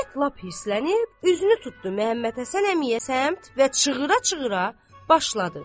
İzzət lap hirslənib, üzünü tutdu Məmmədhəsən əmiyə səmt və çığıra-çığıra başladı.